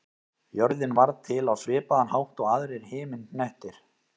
Jörðin varð til á svipaðan hátt og aðrir himinhnettir.